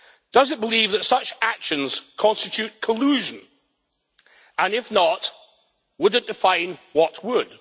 Does it believe that such actions constitute collusion, and if not would it define what would?